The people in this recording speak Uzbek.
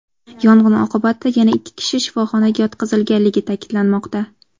Yong‘in oqibatida yana ikki kishi shifoxonaga yotqizilganligi ta’kidlanmoqda.